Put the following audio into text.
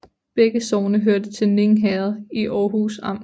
Begge sogne hørte til Ning Herred i Aarhus Amt